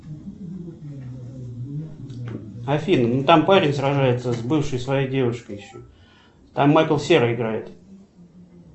афина ну там парень сражается с бывшей своей девушкой еще там майкл серый играет